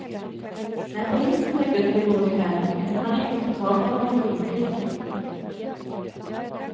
När polisen dök upp i går kväll kunde man inte få tag på någon skyldig.